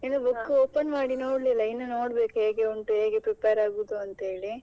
ಇನ್ನೂ book open ಮಾಡಿ ನೋಡಿಲ್ಲ, ಇನ್ನು ನೋಡ್ಬೇಕು ಹೇಗೆ ಉಂಟು ಹೇಗೆ prepare ಆಗೂದು ಅಂತ ಹೇಳಿ.